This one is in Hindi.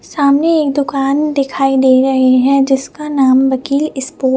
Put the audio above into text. सामने एक दुकान दिखाई दे रहे है जिसका नाम वक्ली स्टोर --